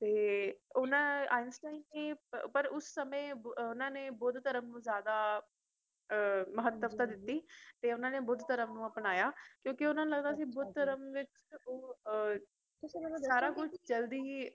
ਤੇ ਓਹਨਾ Einstine ਨੇ ਪਰ ਉਸ ਸਮੇਂ ਉਹਨਾਂ ਨੇ ਬੁੱਧ ਧਰਮ ਨੂੰ ਜਾਦਾ ਮਹੱਤਵਤਾ ਦਿੱਤੀ ਇਹਨਾਂ ਨੇ ਬੁੱਧ ਧਰਮ ਨੂੰ ਅਪਨਾਇਆ ਕਿਉਕਿ ਓਹਨਾ ਨੂ ਲਗਦਾ ਸੀ ਬੁੱਧ ਧਰਮ ਵਿੱਚ